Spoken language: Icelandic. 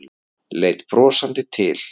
Leit brosandi til